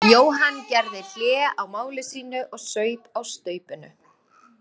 Jóhann gerði hlé á máli sínu og saup á staupinu.